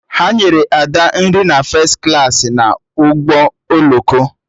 Ha nyere Ada nri na fes klaasị na ụgbọ oloko